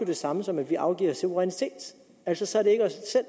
det samme som at vi afgiver suverænitet altså så er det ikke